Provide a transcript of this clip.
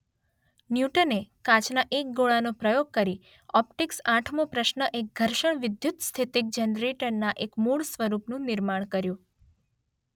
ન્યૂટને કાચના એક ગોળાનો પ્રયોગ કરી ઓપ્ટિક્સ આઠમો પ્રશ્ન એક ઘર્ષણ વિદ્યુતસ્થિતિક જનરેટરના એક મૂળ સ્વરૂપનું નિર્માણ કર્યું.